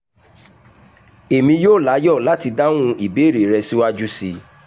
èmi yóò láyọ̀ láti dáhùn ìbéèrè rẹ síwájú sí i